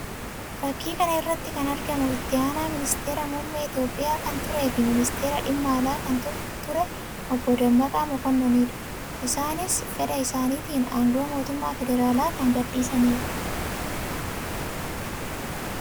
Fakkii kana irratti kan argamu itti aanaa ministeera muummee Itoophiyaa kan ture fi ministeera dhimma alaa kan ture obbo Dammaqaa Mokononii dha. Isaannis fedha isaaniitiin aangoo mootummaa federaalaa kan gadi dhiisanii dha.